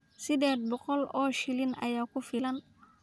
Sideed boqol oo shilin ayaa ku filan.